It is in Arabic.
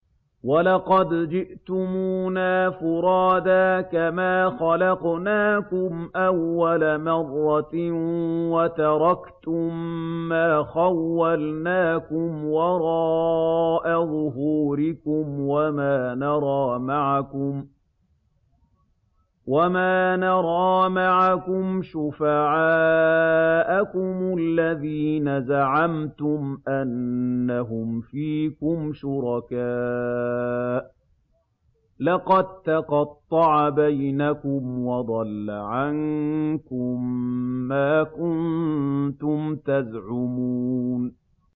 وَلَقَدْ جِئْتُمُونَا فُرَادَىٰ كَمَا خَلَقْنَاكُمْ أَوَّلَ مَرَّةٍ وَتَرَكْتُم مَّا خَوَّلْنَاكُمْ وَرَاءَ ظُهُورِكُمْ ۖ وَمَا نَرَىٰ مَعَكُمْ شُفَعَاءَكُمُ الَّذِينَ زَعَمْتُمْ أَنَّهُمْ فِيكُمْ شُرَكَاءُ ۚ لَقَد تَّقَطَّعَ بَيْنَكُمْ وَضَلَّ عَنكُم مَّا كُنتُمْ تَزْعُمُونَ